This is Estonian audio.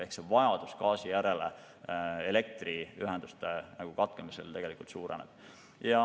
Ehk vajadus gaasi järele elektriühenduste katkemisel suureneb.